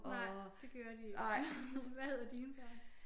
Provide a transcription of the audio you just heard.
Nej det gør de ikke. Hvad hedder dine børn?